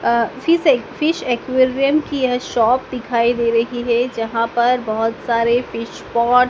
अ fish fish aquarium की यह shop दिखाई दे रही है जहाँ पर बहोत सारे फिश पॉट --